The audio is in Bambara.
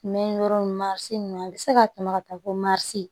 Mɛ yɔrɔ in marise ninnu a bɛ se ka tɛmɛ ka taa fo marise